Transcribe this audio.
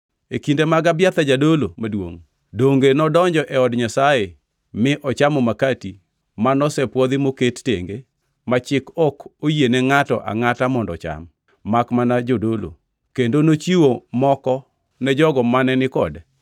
E kinde mag Abiathar jadolo maduongʼ, donge nodonjo e od Nyasaye mi ochamo makati ma nosepwodhi moket tenge ma chik ok oyiene ngʼato angʼata mondo ocham, makmana jodolo. Kendo nochiwo moko ne jogo mane ni kode.”